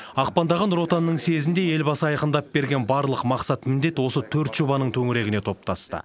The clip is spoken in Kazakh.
ақпандағы нұр отанның съезінде елбасы айқындап берген барлық мақсат міндет осы төрт жобаның төңірегіне топтасты